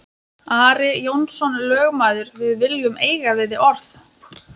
Ari Jónsson lögmaður,-við viljum eiga við þig orð!